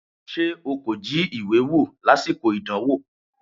Ṣé o kò jí ìwé wò lásìkò ìdánwò?